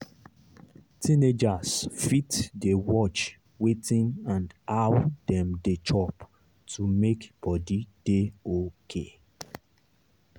teenagers fit dey watch wetin and how dem dey chop to make body dey okay.